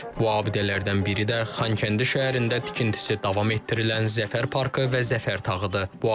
Bu abidələrdən biri də Xankəndi şəhərində tikintisi davam etdirilən Zəfər parkı və Zəfər tağıdır.